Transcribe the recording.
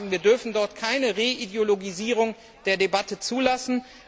Wir dürfen dort keine Reideologisierung der Debatte zulassen.